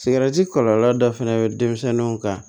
Sigɛriti kɔlɔlɔ dɔ fɛnɛ bɛ denmisɛnninw kan